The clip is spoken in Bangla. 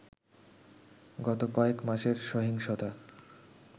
গত কয়েক মাসের সহিংসতা